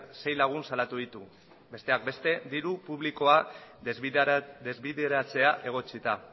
sei lagun salatu ditu besteak beste diru publikoa desbideratzea egotzita